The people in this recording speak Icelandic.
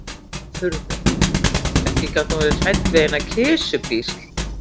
Hún var furðuleg, ekki gat hún verið hrædd við eina kisupísl.